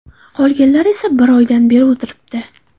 Qolganlar esa bir oydan beri o‘tiribdi.